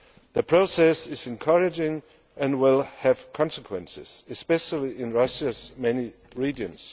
The process is encouraging and will have consequences, especially in Russia's many regions.